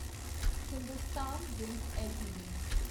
Hindustan zinc LTD